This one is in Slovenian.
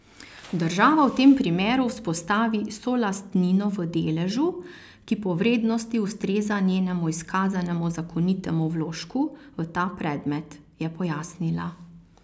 Država v tem primeru vzpostavi solastnino v deležu, ki po vrednosti ustreza njenemu izkazanemu zakonitemu vložku v ta predmet, je pojasnila.